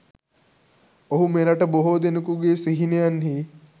ඔහු මෙරට බොහෝ දෙනකුගේ සිහිනයන්හි